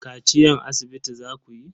Kaciyan asibiti zakuyi?